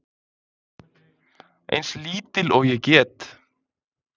Eins lítil og ég get.